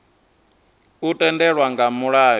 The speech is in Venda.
u tendelwa nga mulayo na